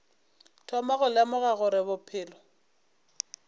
thoma go lemoga gore bophelo